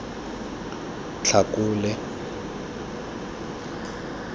tlhakole